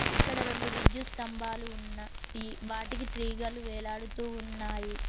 ఇక్కడ రెండు విద్యుత్ స్తంభాలు ఉన్న వాటికి తీగలు వేలాడుతూ ఉన్నాయి.